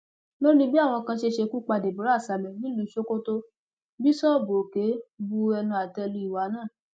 lórí bí àwọn kan ṣe ṣekú pa deborah samuel nílùú sokoto bíṣọọbù òkè bu ẹnu àtẹ lu ìwà náà